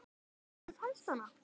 En mamma þín, fannstu hana?